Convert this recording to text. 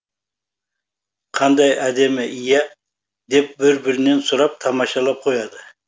қандай әдемі иә деп бір бірінен сұрап тамашалап қояды